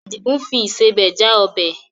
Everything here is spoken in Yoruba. Àdìgún fi ìsebẹ̀ já ọbẹ̀.